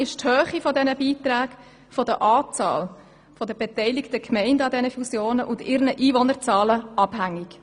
Die Höhe der Beiträge ist von der Anzahl der beteiligten Gemeinden an einer Fusion und ihren Einwohnerzahlen abhängig.